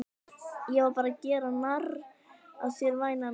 Ég var bara að gera narr að þér væna mín.